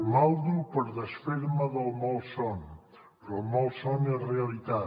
maldo per desfer me del malson però el malson és realitat